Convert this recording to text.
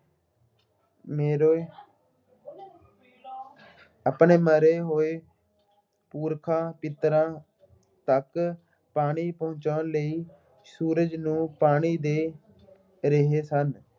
ਆਪਣੇ ਮਰੇ ਹੋਏ ਪੁਰਖਾਂ ਪਿੱਤਰਾਂ ਤੱਕ ਪਾਣੀ ਪਹੁੰਚਾਉਣ ਲਈ ਸੂਰਜ ਨੂੰ ਪਾਣੀ ਦੇ ਰਹੇ ਸਨ।